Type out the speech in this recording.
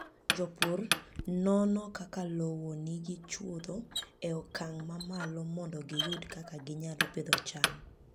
Jopur nono kaka lowo nigi chwodho e okang' mamalo mondo giyud kaka ginyalo pidho cham.